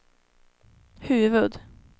huvud-